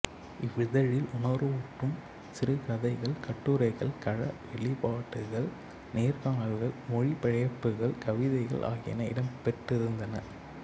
இவ்விதழில் உணர்வூட்டும் சிறுகதைகள் கட்டுரைகள் கழ வெளிப்பாடுகள் நேர்காணல்கள் மொழிபெயர்ப்புகள் கவிதைகள் ஆகியன இடம்பெற்றிருந்தன